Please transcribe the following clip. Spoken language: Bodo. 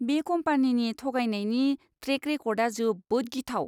बे कम्पानिनि थगायनायनि ट्रेक रेकर्डआ जोबोद गिथाव।